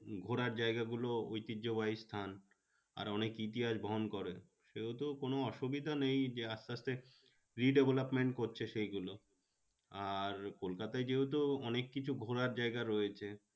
ঘোরার জায়গা গুলো ঐতিহ্যবাহী স্থান। আর অনেক ইতিহাস বহন করে। সেহেতু কোনো অসুবিধা নেই যে আস্তে আস্তে redevelopment করছে সেই গুলো আর কলকাতায় যেহেতু অনেক কিছু ঘোরার জায়গায় রয়েছে